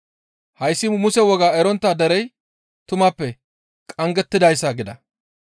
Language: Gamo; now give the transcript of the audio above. Hayssi Muse wogaa erontta derey tumappe qanggettidayssa» gida.